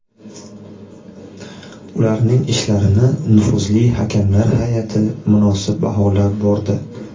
Ularning ishlarini nufuzli hakamlar hay’ati munosib baholab bordi.